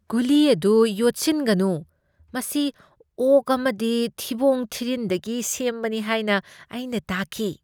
ꯒꯨꯂꯤ ꯑꯗꯨ ꯌꯣꯠꯁꯤꯟꯒꯅꯨ꯫ ꯃꯁꯤ ꯑꯣꯛ ꯑꯃꯒꯤ ꯊꯤꯕꯣꯡ ꯊꯤꯔꯤꯟꯗꯒꯤ ꯁꯦꯝꯕꯅꯤ ꯍꯥꯏꯅ ꯑꯩꯅ ꯇꯥꯈꯤ꯫